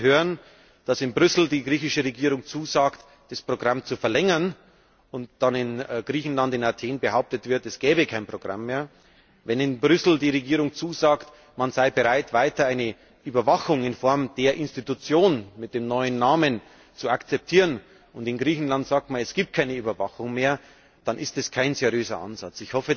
Und wenn wir hören, dass in Brüssel die griechische Regierung zusagt, das Programm zu verlängern und dann in Griechenland, in Athen, behauptet wird, es gäbe kein Programm mehr, wenn in Brüssel die griechische Regierung zusagt, man sei bereit, weiter eine Überwachung in Form der Institution mit dem neuen Namen zu akzeptieren, und in Griechenland sagt man, es gibt keine Überwachung mehr, dann ist das kein seriöser Ansatz.